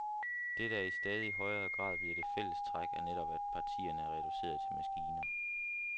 Det, der i stadig højere grad bliver det fælles træk, er netop, at partierne er reduceret til maskiner.